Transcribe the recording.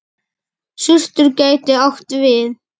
Surtur gæti átt við